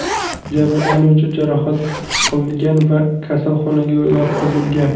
Jabrlanuvchi jarohat olgan va kasalxonaga yotqizilgan.